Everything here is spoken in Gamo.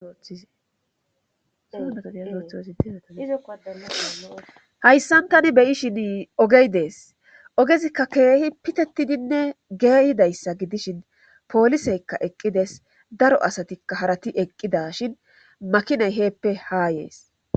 hayssan tani beyi shin ogey dees ogezikka keehi pitettidinne geeyidayssa gidishin pooliseykka eqqides daro asatikka harati eqqida shin makinay heeppe haa yees